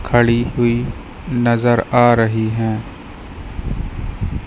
खड़ी हुई नज़र आ रही हैं।